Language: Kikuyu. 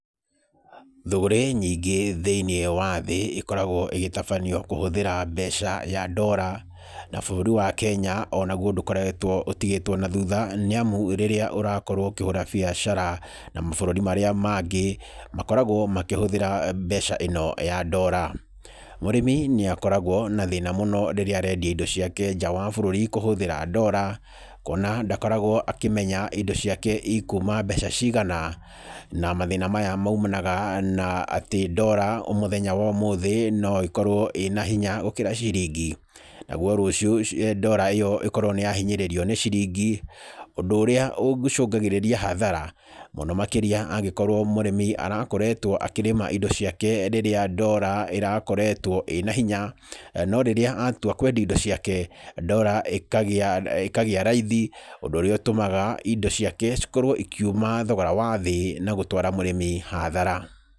Thũgũrĩ nyingĩ thĩinĩ wa thĩ, ĩkoragwo ĩgĩtabanio kũhũthĩra mbeca ya ndora, na bũrũri wa Kenya onaguo ndũkoretwo ũtigĩtwo nathutha nĩamu rĩrĩa ũrakorwo ũkĩhũra biacara na mabũrũri marĩa mangĩ, makoragwo makĩhũthĩra mbeca ĩno ya ndora. Mũrĩmi nĩakoragwo na thĩna mũno rĩrĩa arendia indo ciake nja wa bũrũri kũhũthĩra ndora kwona ndakoragwo akĩmenya indo ciake ikuma mbeca cigana, na mathĩna maya maumanaga na atĩ ndora mũthenya wa ũmũthĩ no ĩkorwo ĩna hinya gũkorwo ciringi, naguo rũcio ndora ĩyo ĩkorwo nĩ yahinyĩrĩrio nĩ ciringi, ũndũ ũrĩa ũcũngagĩrĩria hathara, mũno makĩrĩa angĩkorwo mũrĩmi arakoretwo akĩrĩma indo ciake rĩrĩa ndora ĩrakoretwo ĩna hinya, no rĩrĩa atua kwendia indo ciake, ndora ĩkagĩa ĩkagĩa raithi, ũndũ ũrĩa ũtũmaga indo ciake cikorwo ikiuma thogora wa thĩ, na gũtwara mũrĩmi hathara.